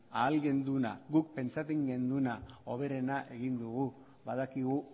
ahal genduna guk pentsatzen genduna hoberena egin dugu badakigu